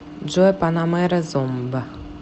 джой панамера зомб